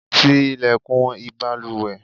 tí ilẹ̀kùn ìbalùwẹ̀!